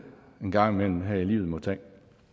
en gang imellem her i livet må tage